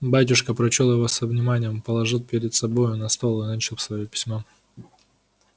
батюшка прочёл его со вниманием положил перед собою на стол и начал своё письмо